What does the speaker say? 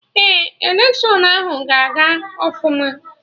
Ee, electiọnụ ahụ ga aga ọfụma